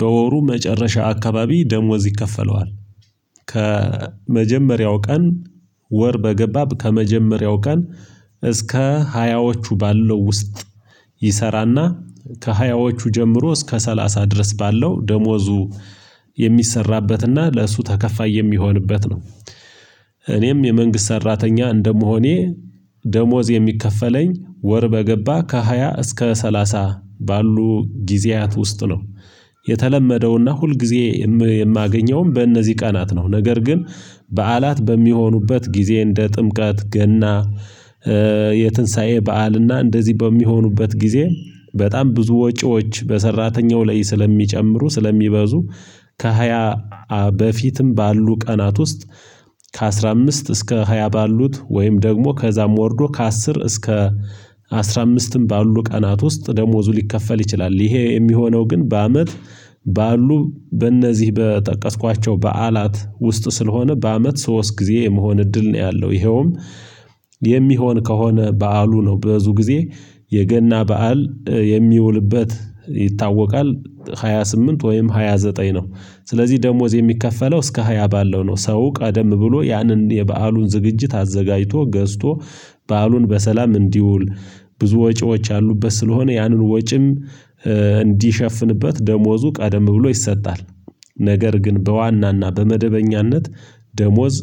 በወሩ መጨረሻ አካባቢ ደሞዝ ይከፈለዋል። ከመጀመሪያው ቀን ወር በገባ ከመጀመሪያው ቀን እስከ ሀያዎቹ ባለው ውስጥ። ይሰራና ከሀያዎቹ ጀምሮ እስከ ሰላሳ ድረስ ባለው ደሞዙ የሚሰራበትና ለእሱ ተከፋይ የሚሆንበት ነው። እኔም የመንግስት ሰራተኛ እንደመሆኔ ደሞዝ የሚከፈለኝ ወር በገባ ከሃያ እስከ ሰላሳ ባሉ ጊዜያት ውስጥ ነው። የተለመደውና ሁልጊዜ የም የማገኘውም በእነዚህ ቀናት ነው። ነገር ግን በዓላት በሚሆኑበት ጊዜ እንደ ጥምቀት፣ ገና የትንሳኤ በዓል እና እንደዚህ በሚሆኑበት ጊዜ በጣም ብዙ ወጪዎች በሰራተኛው ላይ ስለሚጨምሩ ስለሚበዙ። ከሃያ በፊትም ባሉ ቀናት ውስጥ ከአስራ አምስት እስከ ሃያ ባሉት ወይም ደግሞ ከእዛም ወርዶ ከአስር እስከ አስራ አምስትም ባሉ ቀናት ውስጥ ደሞዙ ሊከፈል ይችላል። ይሄ የሚሆነው ግን በአመት ባሉ በእነዚህ በጠቀስኳቸው በዓላት ውስጥ ስለሆነ በአመት ሶስት ጊዜ የመሆን እድል ነው ያለው። ይኸውም የሚሆን ከሆነ በዓሉ ነው ብዙ ጊዜ የገና በዓል የሚውልበት ይታወቃል በሃያ ስምንት ወይም ሃያ ዘጠኝ ነው። ስለዚህ ደሞዝ የሚከፈለው እስከ ሃያ ባለው ነው ሰው ቀደም ብሎ ያንን የበአሉን ዝግጅት አዘጋጅቶ ገዝቶ በዓሉን በሰላም እንዲውል ብዙ ወጪዎች ያሉበት ስለሆነ ያንን ወጪም እንዲሸፍንበት ደሞዙ ቀደም ብሎ ይሰጣል። ነገር ግን በዋናና በመደበኛነት ደሞዝ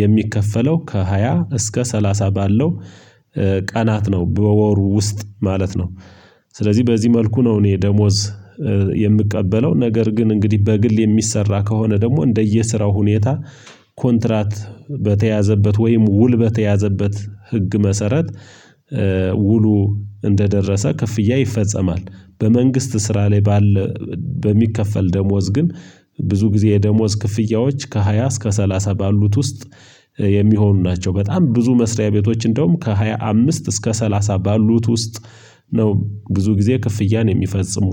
የሚከፈለው ከሃያ እስከ ሰላሳ ባለው ቀናት ነው በወሩ ውስጥ ማለት ነው። ስለዚህ በዚህ መልኩ ነው እኔ ደሞዝ የምቀበለው ነገር ግን እንግዲህ በግል የሚሰራ ከሆነ ደግሞ እንደየስራው ሁኔታ ኮንትራት በተያዘበት ወይም ውል በተያዘበት ህግ መሰረት። ውሉ እንደደረሰ ክፍያ ይፈጸማል። በመንግስት ስራ ላይ ባለ በሚከፈል ደሞዝ ግን ብዙ ጊዜ የደሞዝ ክፍያዎች ከሃያ እስከ ሰላሳ ባሉት ውስጥ የሚሆኑ ናቸው። በጣም ብዙ መስሪያ ቤቶች እንደውም ከሃያ አምስት እስከ ሰላሳ ባሉት ውስጥ ነው ብዙ ጊዜ ክፍያን የሚፈጽሙ።